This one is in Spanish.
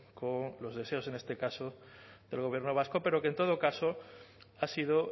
con los deseos en este caso del gobierno vasco pero que en todo caso ha sido